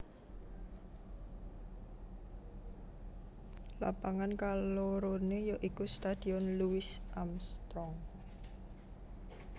Lapangan kaloroné ya iku Stadion Louis Armstrong